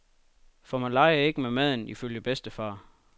For man leger ikke med maden, ifølge bedstefar.